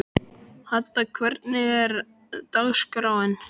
Hadda, hvernig er dagskráin?